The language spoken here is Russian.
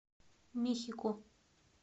мехико